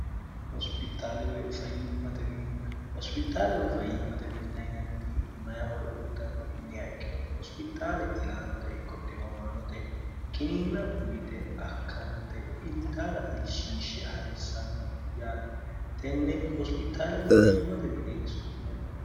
hospitaalewoy fayyimmate minna yinanniti mayihoro uuxanno iiniha ikkiro hospitaale ilaanote ikqoxxiomaanote giniinna uyite akkante iltaata ilshiishshe ha'rissanno yaati tenne hospitaalewoe fayyimmate mineeni so'inanni